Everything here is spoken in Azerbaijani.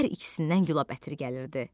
Hər ikisindən gülab ətiri gəlirdi.